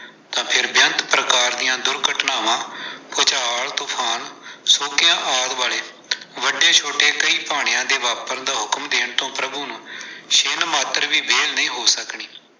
ਅਤੇ ਬੇਅੰਤ ਪ੍ਰਕਾਰ ਦੀਆਂ ਦੁਰਘਟਨਾਵਾਂ-ਭੂਚਾਲ, ਤੁਫਾਨ, ਸੋਕਿਆਂ ਆਦਿ ਵਾਲੇ ਵੱਡੇ ਛੋਟੇ ਕਈ ਭਾਣਿਆਂ ਦੇ ਵਾਪਰਨ ਦਾ ਹੁਕਮ ਦੇਣ ਤੋਂ ਪ੍ਰਭੂ ਨੂੰ ਛਿਣ ਮਾਤਰ ਵੀ ਵਹਿਲ ਨਹੀਂ ਹੋ ਸਕਣੀ।